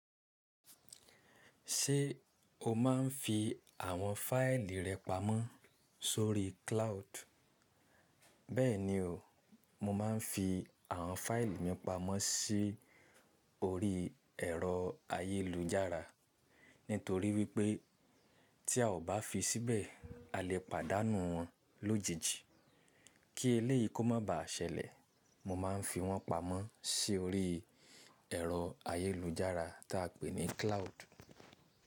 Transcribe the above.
Ṣé o máa ń fi àwọn fáìlì rẹ pamọ́ sórí cloud? Bẹ́ẹ̀ni o, mo máa ń fi àwọn fáìlì mi pamọ́ sí orí ẹ̀rọ ayélujára nítorí wípé tí a ò bá fi síbẹ̀ a lè pàdánù wọn lójijì. Kí eléyìí kó má ba à ṣẹlẹ̀, mo máa ń fi wọ́n pamọ́ sórí ẹ̀rọ ayélujára tí a pè ní cloud.